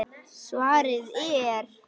Svarið er